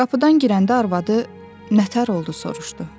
Qapıdan girəndə arvadı “Nə təhər oldu?” soruşdu.